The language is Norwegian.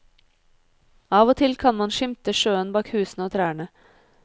Av og til kan man skimte sjøen bak husene og trærne.